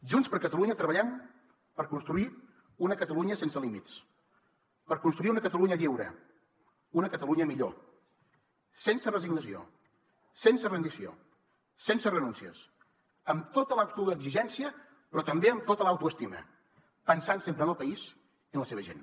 junts per catalunya treballem per construir una catalunya sense límits per construir una catalunya lliure una catalunya millor sense resignació sense rendició sense renúncies amb tota l’autoexigència però també amb tota l’autoestima pensant sempre en el país i en la seva gent